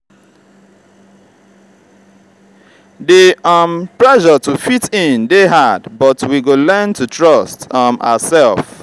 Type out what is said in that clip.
di um pressure to fit in dey hard but we go learn to trust um ourself.